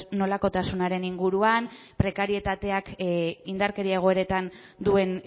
nolakotasunaren inguruan prekarietateak indarkeria egoeretan duen